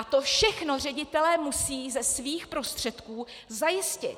A to všechno ředitelé musí ze svých prostředků zajistit.